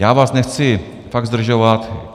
Já vás nechci fakt zdržovat.